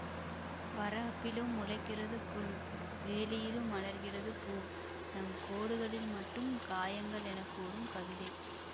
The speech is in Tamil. வரப்பிலும் முளைக்கிறது புல் வேலியிலும் மலர்கிறது பூ நம் கோடுகளில் மட்டும் காயங்கள் என கூறும் கவிதை